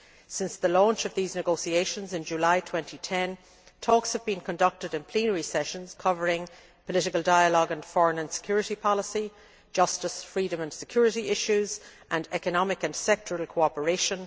Since the launch of these negotiations in July 2010, talks have been conducted in plenary sessions covering political dialogue and foreign and security policy, justice, freedom and security issues, and economic and sectoral cooperation.